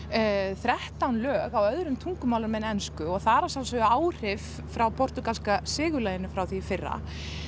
þrettán lög á öðrum tungumálum en ensku og það eru að sjálfsögðu áhrif frá portúgalska frá því í fyrra